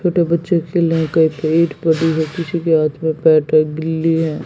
छोटे बच्चे खेल रहे किसी के हाथ में बैट है गिल्ली है।